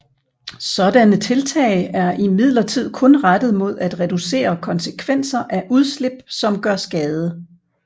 Sådanne tiltag er imidlertid kun rettet mod at reducere konsekvenser af udslip som gør skade